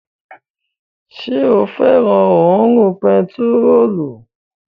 Ṣé o fẹ́ràn òórùn bentiróòlù?